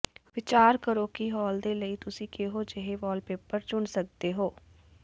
ਵਿਚਾਰ ਕਰੋ ਕਿ ਹਾਲ ਦੇ ਲਈ ਤੁਸੀਂ ਕਿਹੋ ਜਿਹੇ ਵਾਲਪੇਪਰ ਚੁਣ ਸਕਦੇ ਹੋ